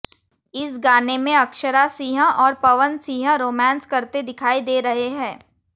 इस गाने में अक्षरा सिंह और पवन सिंह रोमांस करते दिखाई दे रहे हैं